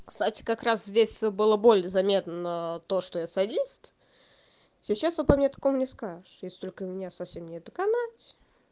кстати как раз здесь была более заметно то что я садист сейчас вы пометку мне скажешь если только меня совсем не доконать